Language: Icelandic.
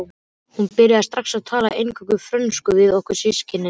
Hún byrjaði strax að tala eingöngu frönsku við okkur systkinin.